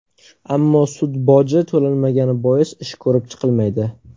Ammo sud boji to‘lanmagani bois ish ko‘rib chiqilmaydi.